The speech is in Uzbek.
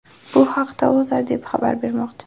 Bu haqda O‘zA deb xabar bermoqda .